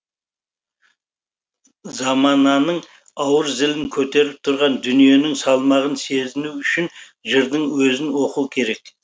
замананың ауыр зілін көтеріп тұрған дүниенің салмағын сезіну үшін жырдың өзін оқу керек